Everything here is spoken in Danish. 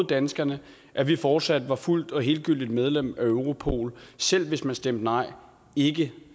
danskerne at vi fortsat ville være fuldgyldigt medlem af europol selv hvis man stemte nej ikke